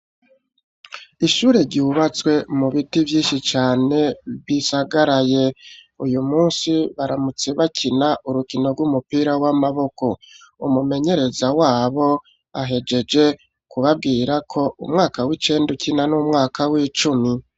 Ishure ryubatswe mu biti vyinshi cane bisagaraye. Uyu munsi baramutse bakina urukino rw'umupira w'amaboko umumenyereza wabo ahejeje kubabwira ko umwaka w'icenda ukina n'umwaka w'icumi.